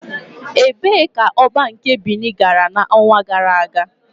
Ebee ka Oba nke Binin gara n'ọnwa gara aga?